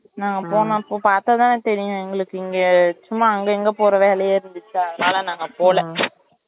நான் போனப்போ பாத்தாதான் தெரியும் எங்களுக்கு இங்க சும்மா அங்க இங்கனு போற வேலையா இருந்துச்சா அதுனால நாங்க அங்க போல